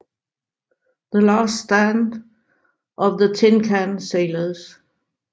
The Last Stand of the Tin Can Sailors